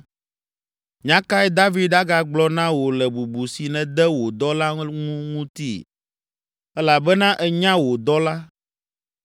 “Nya kae David agagblɔ na wò le bubu si nède wò dɔla ŋu ŋuti? Elabena ènya wò dɔla,